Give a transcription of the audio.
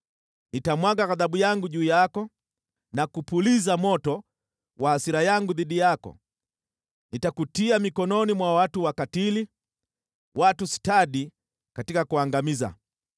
Nitamwaga ghadhabu yangu juu yako na kupuliza moto wa hasira yangu dhidi yako; nitakutia mikononi mwa watu wakatili, watu stadi katika kuangamiza.